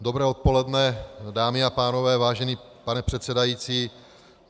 Dobré odpoledne, dámy a pánové, vážený pane předsedající.